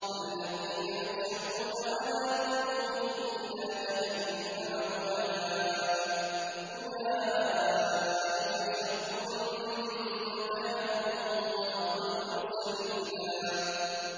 الَّذِينَ يُحْشَرُونَ عَلَىٰ وُجُوهِهِمْ إِلَىٰ جَهَنَّمَ أُولَٰئِكَ شَرٌّ مَّكَانًا وَأَضَلُّ سَبِيلًا